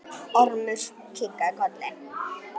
Ormur kinkaði kolli.